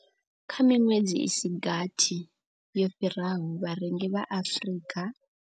Kha miṅwedzi i si gathi yo fhiraho, vharengi vha Afrika.